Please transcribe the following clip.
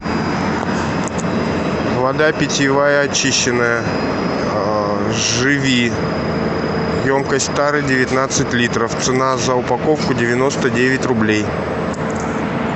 вода питьевая очищенная живи емкость тары девятнадцать литров цена за упаковку девяносто девять рублей